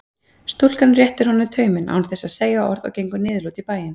Stúlkan réttir honum tauminn án þess að segja orð og gengur niðurlút í bæinn.